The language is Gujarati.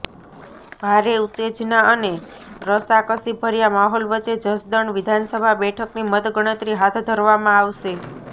ભારે ઉત્તેજના અને રસાકસીભર્યા માહોલ વચ્ચે જસદણ વિધાનસભા બેઠકની મતગણતરી હાથ ધરવામાં આવશે